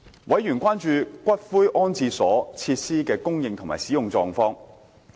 委員關注骨灰安置所設施的供應及使用情況。